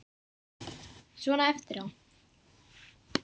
Svona eftir á.